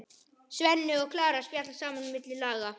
Svenni og Klara spjalla saman á milli laga.